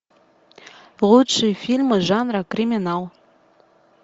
лучшие фильмы жанра криминал